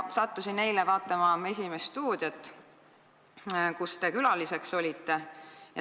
Sattusin eile vaatama "Esimest stuudiot", kus teie külaliseks olite.